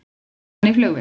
Kom hann í flugvél?